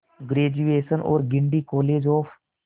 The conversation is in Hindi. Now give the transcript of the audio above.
ग्रेजुएशन और गिंडी कॉलेज ऑफ